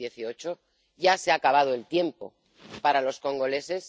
2018 ya se ha acabado el tiempo para los congoleños.